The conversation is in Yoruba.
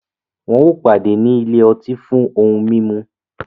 Wọn o pàdé ní ilé ọtí lóni fún ohùn mímú